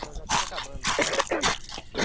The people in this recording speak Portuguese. Nós já estamos acabando.